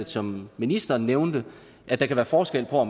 som ministeren nævnte forskel på